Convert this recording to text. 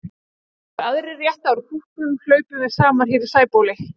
Þegar aðrir rétta úr kútnum hlaupum við saman hér í Sæbóli.